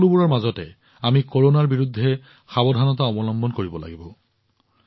এই সকলোবোৰৰ মাজতো আমি কৰোনাৰ বিৰুদ্ধে সাৱধানতা অৱলম্বন কৰিব লাগিব